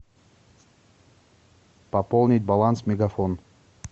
пополнить баланс мегафон